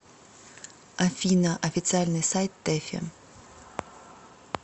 афина официальный сайт тэфи